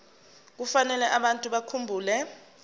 kufanele abantu bakhumbule